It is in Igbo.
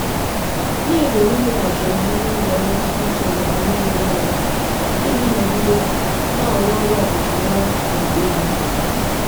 na-ezere imeghachi omume n'ụzọ mmetụta uche na omume rụrụ arụ iji nọgide na-arụ ọrụ ọkachamara na ùgwù.